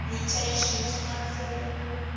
mutations confer